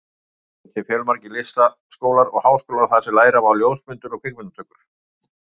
Erlendis eru til fjölmargir listaskólar og háskólar þar sem læra má ljósmyndun og kvikmyndatökur.